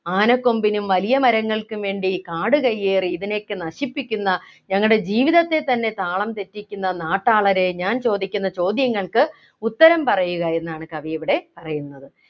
ആനക്കൊമ്പിനും വലിയ മരങ്ങൾക്കും വേണ്ടി കാടുകയ്യേറി ഇതിനെയൊക്കെ നശിപ്പിക്കുന്ന ഞങ്ങളുടെ ജീവിതത്തെ തന്നെ താളം തെറ്റിക്കുന്ന നാട്ടാളരെ ഞാൻ ചോദിക്കുന്ന ചോദ്യങ്ങൾക്ക് ഉത്തരം പറയുക എന്നാണ് കവിയിവിടെ പറയുന്നത്